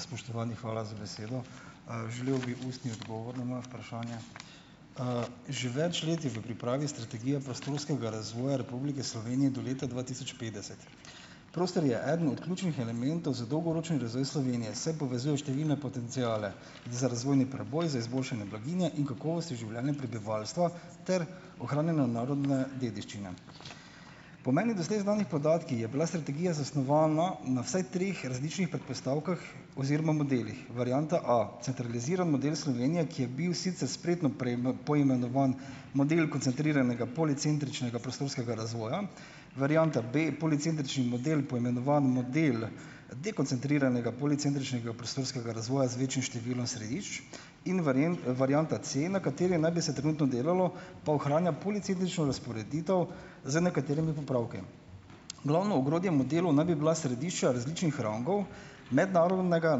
Spoštovani, hvala za besedo. Želel bi ustni odgovor na moje vprašanje. Že več let je v pripravi strategija prostorskega razvoja Republike Slovenije do leta dva tisoč petdeset. Prostor je eden od ključnih elementov za dolgoročni razvoj Slovenije, saj povezuje številne potenciale za razvojni preboj, za izboljšanje blaginje in kakovosti življenja prebivalstva ter ohranjanja narodne dediščine. Po meni doslej znanih podatkih je bila strategija zasnovana na vsaj treh različnih predpostavkah oziroma modelih. Varianta A: centraliziran model Slovenije, ki je bil sicer spretno poimenovan model koncentriranega policentričnega prostorskega razvoja. Varianta B: policentrični model, poimenovan model dekoncentriranega policentričnega prostorskega razvoja z večjim številom središč. In varianta C, na kateri naj bi se trenutno delalo, pa ohranja policentrično razporeditev z nekaterimi popravki. Glavno ogrodje modelov naj bi bila središča različnih rangov mednarodnega,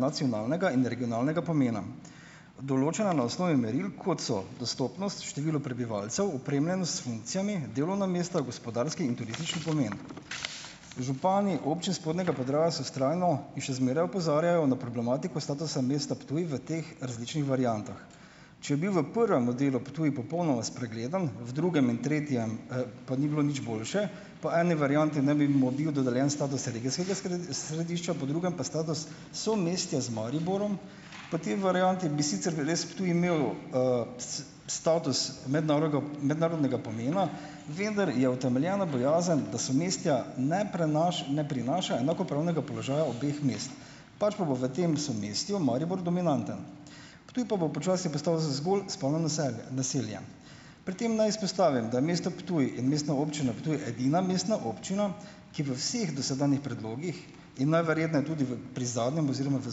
nacionalnega in regionalnega pomena, določena na osnovi meril, kot so: dostopnost, število prebivalcev, opremljenost s funkcijami, delovna mesta, gospodarski in turistični pomeni. Župani občin spodnjega Podravja se vztrajno in še zmeraj opozarjajo na problematiko statusa mesta Ptuj v teh različnih variantah. Če bil v prvem modelu Ptuj popolnoma spregledan, v drugem in tretjem, pa ni bilo nič boljše, pa eni varianti ne bi mu bil dodeljen status regijskega središča, po drugem pa status somestja z Mariborom. Po tej varianti bi sicer res Ptuj imel, status mednarodnega pomena, vendar je utemeljena bojazen, da somestja ne ne prinaša enakopravnega položaja obeh mest, pač pa bo v tem somestju Maribor dominanten. Ptuj pa bo počasi postal zgolj spalno naselje naselje. Pri tem naj izpostavim, da je mesto Ptuj in Mestna občina Ptuj edina mestna občina, ki v vseh dosedanjih predlogih in najverjetneje tudi v pri zadnjem oziroma v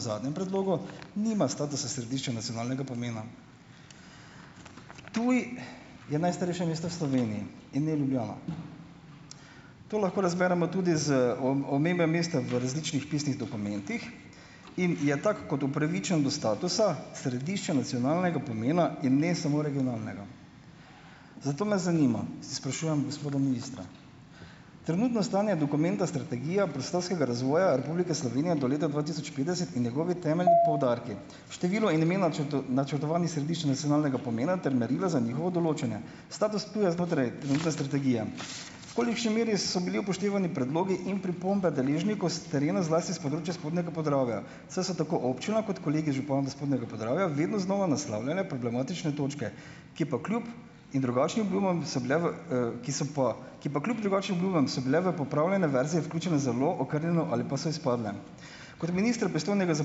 zadnjem predlogu nima statusa središča nacionalnega pomena. Ptuj je najstarejše mesto v Sloveniji in ne Ljubljana. To lahko razberemo tudi z omembe mesta v različnih pisnih dokumentih in je tak kot upravičen do statusa, središče nacionalnega pomena in ne samo regionalnega. Zato me zanima, sprašujem gospoda ministra: Trenutno stanje dokumenta strategija prostorskega razvoja Republike Slovenije do leta dva tisoč petdeset in njegovi temeljni poudarki. Število in imena načrtovanih središč nacionalnega pomena ter merila za njihovo določanje. Status Ptuja znotraj trenutne strategije. V kolikšni meri so bili upoštevani predlogi in pripombe deležnikov s terena, zlasti s področja spodnjega Podravja, saj so tako občina kot kolegi župani spodnjega Podravja vedno znova naslavljale problematične točke, ki pa kljub in drugačnim obljubam so bile v, ki so pa ki pa kljub drugačnim obljubam so bile v popravljene verzije vključene zelo okrnjeno ali pa so izpadle. Kot ministra, pristojnega za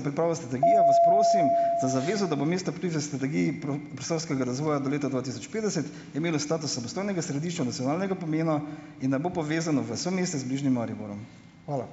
pripravo strategije, vas prosim za zavezo, da bo mesto Ptuj v strategiji prostorskega razvoja do leta dva tisoč petdeset imelo status samostojnega središča nacionalnega pomena in ne bo povezano v somestja z bližnjim Mariborom. Hvala.